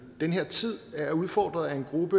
i den her tid er udfordret af en gruppe